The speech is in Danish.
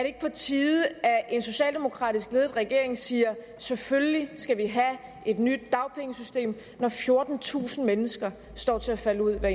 ikke på tide at en socialdemokratisk ledet regering siger selvfølgelig skal vi have et nyt dagpengesystem når fjortentusind mennesker står til at falde ud af